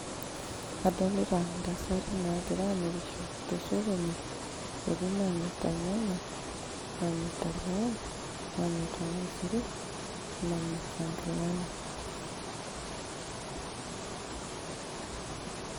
adolita intasati naagira amirisho tosokoni etii namirrta ilnyanya, namirrta irpayek, namirrta ilmaisurin o namirita inkilani.